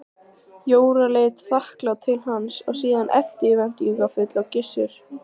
Jóra leit þakklát til hans en síðan eftirvæntingarfull á Gissur.